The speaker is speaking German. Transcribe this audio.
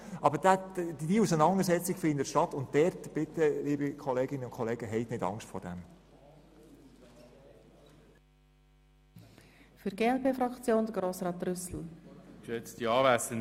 Aber diese Auseinandersetzung findet halt statt, und, liebe Kolleginnen und Kollegen, fürchten Sie sich nicht davor.